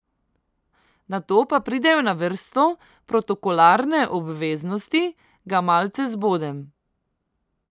Nato pa pridejo na vrsto protokolarne obveznosti, ga malce zbodem.